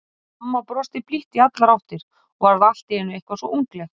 Amma brosti blítt í allar áttir og varð allt í einu eitthvað svo ungleg.